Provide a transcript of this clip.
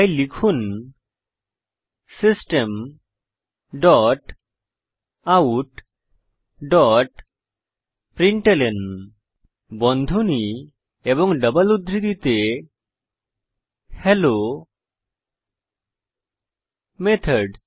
তাই লিখুন system dot out dot println বন্ধনী এবং ডবল উদ্ধৃতিতে হেলো মেথড